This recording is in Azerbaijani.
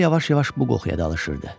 Körpə yavaş-yavaş bu qoxuya alışdırdı.